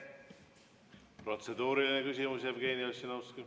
Protseduuriline küsimus, Jevgeni Ossinovski.